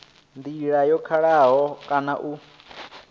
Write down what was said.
ndila yo kalulaho kana u